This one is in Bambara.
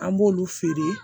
An b'olu feere